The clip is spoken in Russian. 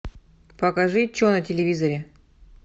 покажи че на телевизоре